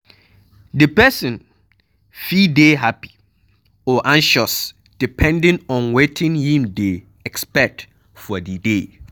Di person fit dey happy or anxious depending on wetin im dey expect for di day